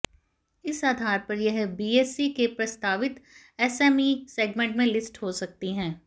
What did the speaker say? इस आधार पर यह बीएसई के प्रस्तावित एसएमई सेगमेंट में लिस्ट हो सकती है